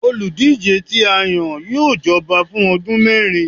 olúdijé ti a yan, yóò jọba fun ọdun mẹrin